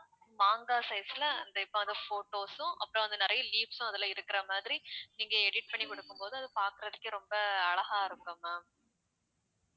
மாங்காய் size ல அந்த இப்ப photos உம் அப்புறம் வந்து நிறைய leaves உம் அதுல இருக்குற மாதிரி நீங்க edit பண்ணி கொடுக்கும் போது அது பாக்குறதுக்கே ரொம்ப அழகா இருக்கும் ma'am